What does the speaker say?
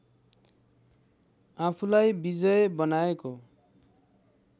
आफूलाई विजय बनाएको